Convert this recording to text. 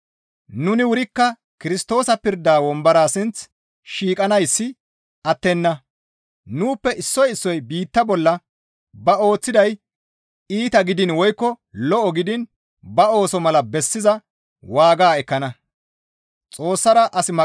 Nuni wurikka Kirstoosa pirda wombora sinth shiiqanayssi attenna; nuuppe issoy issoy biitta bolla ba ooththiday iita gidiin woykko lo7o gidiin ba ooso mala bessiza waaga baas ekkana.